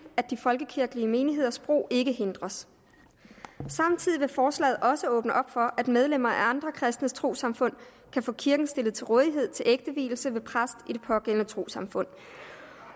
at de folkekirkelige menigheders brug ikke hindres samtidig vil forslaget også åbne op for at medlemmer af andre kristne trossamfund kan få kirken stillet til rådighed til ægtevielse ved præst i det pågældende trossamfund